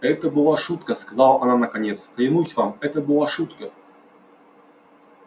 это была шутка сказала она наконец клянусь вам это была шутка